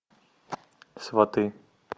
сваты